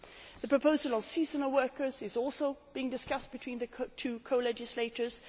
The proposal on seasonal workers is also being discussed between the two co legislators.